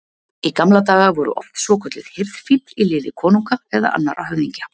Í gamla daga voru oft svokölluð hirðfífl í liði konunga eða annarra höfðingja.